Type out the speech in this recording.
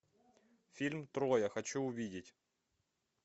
фильм троя хочу увидеть